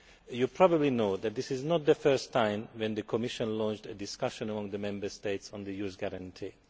You probably know that this is not the first time the Commission has launched a discussion on the Member States and the Youth Guarantee.